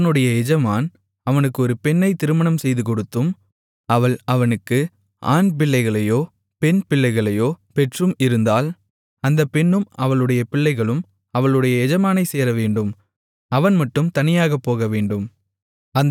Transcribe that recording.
அவனுடைய எஜமான் அவனுக்கு ஒரு பெண்ணை திருமணம்செய்துகொடுத்தும் அவள் அவனுக்கு ஆண்பிள்ளைகளையோ பெண்பிள்ளைகளையோ பெற்றும் இருந்தால் அந்தப் பெண்ணும் அவளுடைய பிள்ளைகளும் அவளுடைய எஜமானைச் சேரவேண்டும் அவன் மட்டும் தனியாகப் போகவேண்டும்